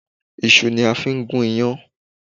Isu ni a fi n gún iyán